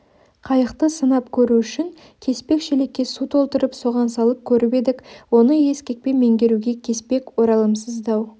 қайықты сынап көру үшін кеспек шелекке су толтырып соған салып көріп едік оны ескекпен меңгеруге кеспек оралымсыз дау